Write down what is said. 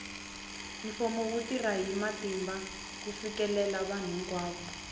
mfumo wu tirha hi matimba ku fikelela vanhu hinkwavo